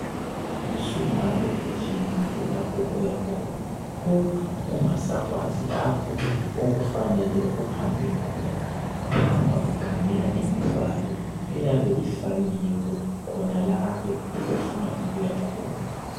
usungabe ufikile lapho oyakhona kodwa ungasakwazi lapho okufanele uhambe khona ungahamba ukhangela imibhalo eyabe ifakiwe khonalapho ofuna ukuyakhona